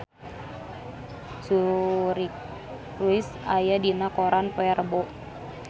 Suri Cruise aya dina koran poe Rebo